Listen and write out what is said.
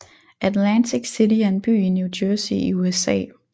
Atlantic City er en by i New Jersey i USA